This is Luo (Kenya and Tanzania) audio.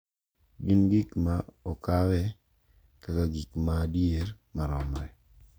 gin gik ma okawe kaka gik ma adier maromre.